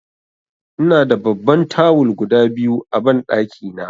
Ina da babban tawul guda biyu a banɗaki na.